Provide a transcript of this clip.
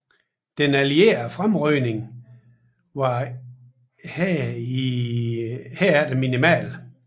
Den allierede fremrykning var imidlertid minimal